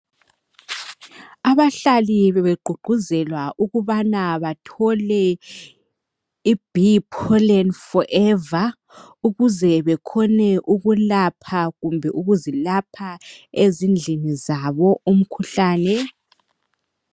Abahlali bebegqugquzelwa ukubana bathole i"BEE POLLEN forever" ukuze bekhone ukulapha kumbe ukuzilapha ezindlini zabo umkhuhlane.